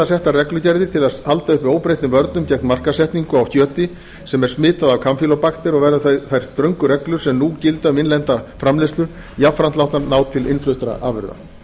settar reglugerðir til að halda uppi óbreyttum vörnum gegn markaðssetningu á kjöti sem er smitað af kampýlóbakter og verða þær ströngu reglur sem nú gilda um innlenda framleiðslu jafnframt látnar ná til innfluttra afurða